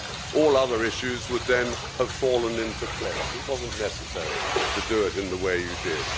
All other issues would then have fallen into place it wasn't necessary to do it in the way you did.